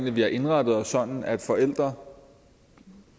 at vi har indrettet os sådan at forældre